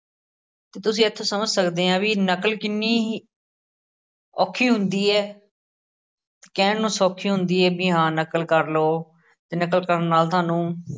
ਤੁਸੀ ਇੱਥੋਂ ਸਮਝ ਸਕਦੇ ਹਾਂ ਕਿ ਨਕਲ ਕਿੰਨੀ ਹੀ~ ਔਖੀ ਹੁੰਦੀ ਹੈ ਕਹਿਣ ਨੂੰ ਸੌਖੀ ਹੁੰਦੀ ਏ ਬਈ ਹਾਂ ਨਕਲ ਕਰਲੋ ਨਕਲ ਕਰਨ ਨਾਲ ਤੁਹਾਨੂੰ